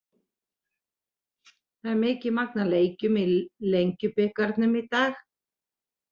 Það er mikið magn af leikjum í Lengjubikarnum í dag.